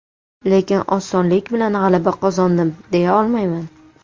Lekin osonlik bilan g‘alaba qozondim, deya olmayman.